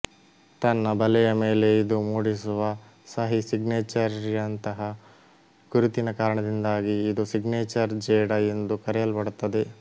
ತನ್ನ ಬಲೆಯ ಮೇಲೆ ಇದು ಮೂಡಿಸುವ ಸಹಿ ಸಿಗ್ನೇಚರ್ಯಂತಹ ಗುರುತಿನ ಕಾರಣದಿಂದಾಗಿ ಇದು ಸಿಗ್ನೇಚರ್ ಜೇಡ ಎಂದು ಕರೆಯಲ್ಪಡುತ್ತದೆ